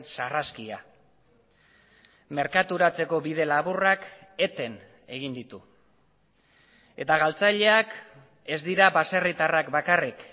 sarraskia merkaturatzeko bide laburrak eten egin ditu eta galtzaileak ez dira baserritarrak bakarrik